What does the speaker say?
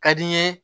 Ka di n ye